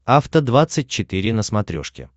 афта двадцать четыре на смотрешке